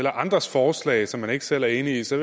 andres forslag som man ikke selv er enig i så